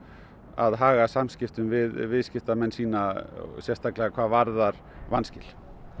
að haga samskiptum við viðskiptamenn sína sérstaklega hvað varðar vanskil